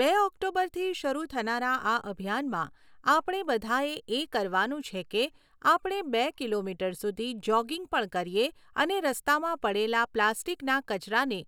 બે ઑક્ટોબરથી શરૂ થનારા આ અભિયાનમાં આપણે બધાએ એ કરવાનું છે કે આપણે બે કિલોમીટર સુધી જૉગિંગ પણ કરીએ અને રસ્તામાં પડેલા પ્લાસ્ટિકના કચરાને